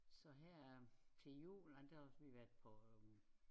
Så her til jul der også vi været på